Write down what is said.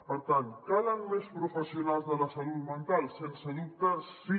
per tant calen més professionals de la salut mental sense dubte sí